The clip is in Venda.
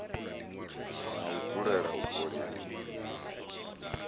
na u dzulela u kolelwa